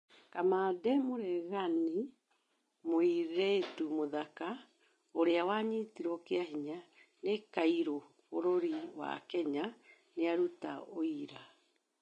Kamande mũreganĩ: mũĩretũ mũthaka 'ũrĩa ũranyĩtĩrwo kĩahĩnya' nĩ kaĩrũ bũrũri wa Kenya nĩarũta ũĩra